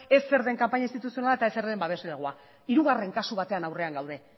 ez zer den kanpaina instituzionala eta ez zer den babeslegoa hirugarren kasu baten aurrean gaude